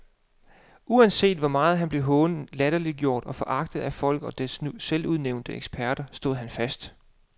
Uanset hvor meget han blev hånet, latterliggjort og foragtet af folket og dets selvudnævnte eksperter, stod han fast.